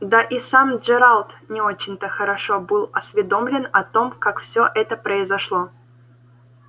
да и сам джералд не очень-то хорошо был осведомлен о том как всё это произошло